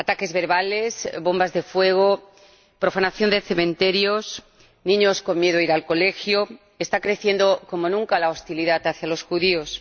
Ataques verbales, bombas de fuego, profanación de cementerios, niños con miedo a ir al colegio está creciendo, como nunca, la hostilidad hacia los judíos.